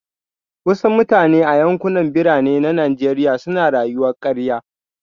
Wasu mutane a yankunan Birane na Najeriya suna rayuwar karya